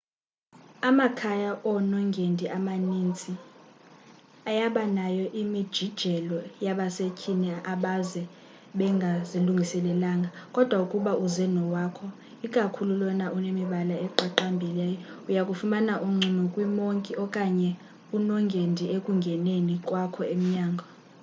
amakhaya onongendi amanintsi ayabanayo imijijelo yabasethyini abaze bengazilungiselelanga kodwa ukuba uze nowakho ikakhulu lona unemibala eqaqambileyo uyakufumana uncumo kwi monki okanye unongendi ekungeneni kwakho emnyango